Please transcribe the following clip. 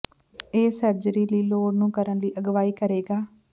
ਇਹ ਸਰਜਰੀ ਲਈ ਲੋੜ ਨੂੰ ਕਰਨ ਲਈ ਅਗਵਾਈ ਕਰੇਗਾ